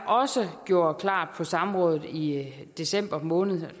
også gjorde klart på samrådet i december måned